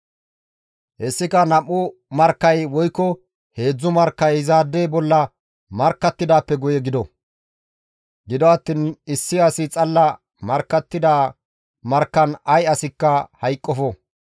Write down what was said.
Hessika nam7u markkay woykko heedzdzu markkay izaade bolla markkattidaappe guye gido; gido attiin issi asi xalla markkattida markkan ay asikka hayqqofo.